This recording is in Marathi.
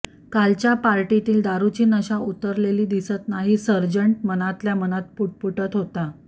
कालच्या पार्टीतील दारूची नशा उतरलेली दिसत नाही सार्जंट मनातल्या मनात पुटपुटत होता